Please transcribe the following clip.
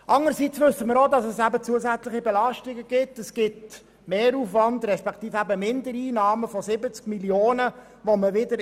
Demgegenüber wissen wir auch, dass dies zu einer zusätzlichen Belastung führt, nämlich zu Mindereinnahmen von 70 Mio. Franken.